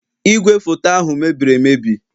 Igwefoto ahụ mebiri emebi